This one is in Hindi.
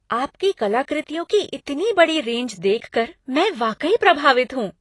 आपकी कलाकृतियों की इतनी बड़ी रेंज देखकर, मैं वाकई प्रभावित हूँ।